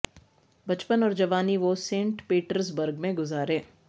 بچپن اور جوانی وہ سینٹ پیٹرز برگ میں گزارے